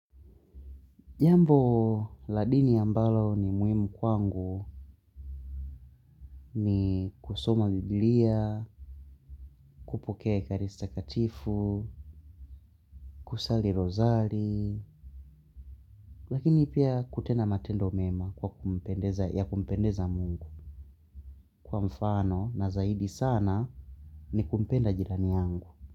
Jambo la dini ambalo ni muhimu kwangu ni kusoma biblia, kupokea karista katifu, kusali rozali, lakini pia kutenda matendo mema ya kumpendeza mungu kwa mfano na zaidi sana ni kumpenda jirani yangu.